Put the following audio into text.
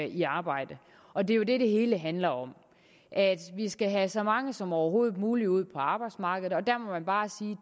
i arbejde og det er jo det det hele handler om vi skal have så mange som overhovedet muligt ud på arbejdsmarkedet og der må man bare sige